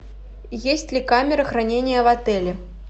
есть ли камера хранения в отеле